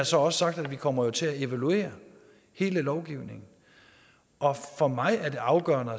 så også sagt at vi kommer til at evaluere hele lovgivningen for mig er det afgørende